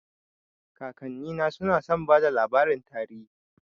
Kakannina suna son bada labarin tarihi